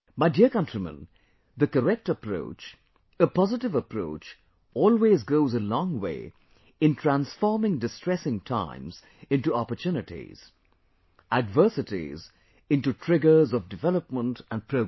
My dear countrymen, the correct approach, a positive approach always goes a long way in transforming distressing times into opportunities, adversities into triggers of development & progress